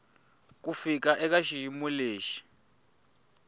ku fika eka xiyimo lexi